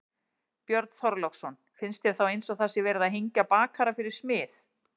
Björn Þorláksson: Finnst þér þá eins og það sé verið að hengja bakara fyrir smið?